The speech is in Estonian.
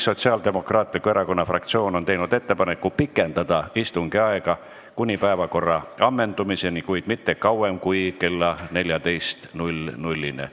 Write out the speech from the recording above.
Sotsiaaldemokraatliku Erakonna fraktsioon on teinud ettepaneku, et kui juttu jätkub kauemaks, siis pikendada istungi aega kuni päevakorra ammendumiseni, kuid mitte kauem kui kella 14-ni.